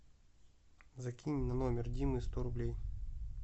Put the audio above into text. закинь на номер димы сто рублей